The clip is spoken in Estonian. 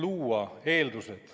Kolm minutit lisaaega.